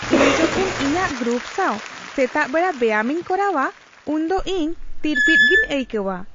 ᱤᱧ ᱡᱚᱠᱷᱮᱱ ᱤᱧᱟᱹᱜ ᱜᱨᱩᱯ ᱥᱟᱶ ᱥᱮᱛᱟᱜ ᱵᱮᱲᱟ ᱵᱮᱭᱟᱢᱤᱧ ᱠᱚᱨᱟᱣᱟ ᱩᱱᱫᱚ ᱤᱧ ᱛᱤᱨᱯᱤᱛ ᱜᱮᱧ ᱟᱹᱭᱠᱟᱹᱣᱟ ᱾